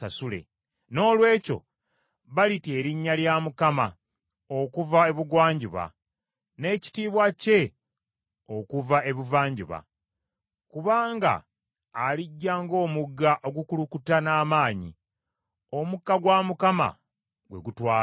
Noolwekyo balitya erinnya lya Mukama okuva ebugwanjuba, n’ekitiibwa kye okuva ebuvanjuba, kubanga alijja ng’omugga ogukulukuta n’amaanyi, omukka gwa Mukama gwe gutwala.